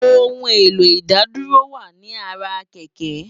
Óoun éló Idádúró wá ni àrá kèkè